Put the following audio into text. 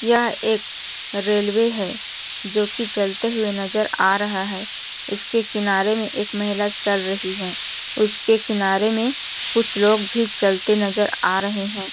यह एक रेलवे है जो कि चलते हुए नजर आ रहा है उसके किनारे में एक महिला चल रही है उसके किनारे में कुछ लोग भी चलते नजर आ रहे हैं।